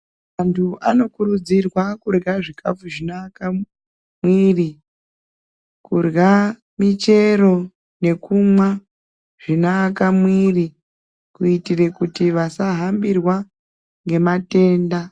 Antu anokurudzirwa kurya zvikafu zvinoaka muiri. Kurya muchero nekumwa zvinoaka muiri kuitire kuti vasahambirwa ngematenda .